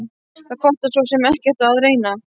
Það kostar svo sem ekkert að reyna.